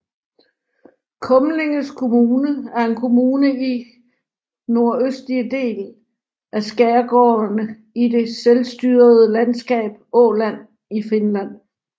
Kumlinges kommune er en kommune i nordøstligste del af skærgården i det selvstyrede Landskab Åland i Finland